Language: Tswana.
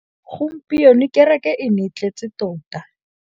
Gompieno kêrêkê e ne e tletse tota.